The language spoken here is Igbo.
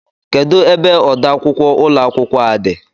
Kedụ ebe ọdọ akwụkwọ ụlọ akwụkwọ a dị?